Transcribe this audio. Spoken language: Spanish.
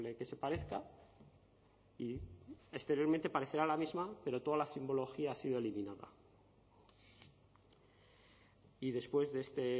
que se parezca y exteriormente parecerá la misma pero toda la simbología ha sido eliminada y después de este